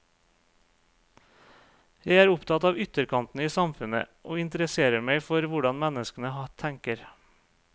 Jeg er opptatt av ytterkantene i samfunnet, og interesserer meg for hvordan menneskene tenker.